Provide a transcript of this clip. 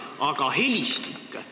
Aga helistik?